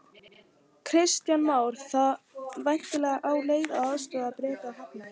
Kristján Már: Þá væntanlega á þá leið að aðstoð Breta verði hafnað?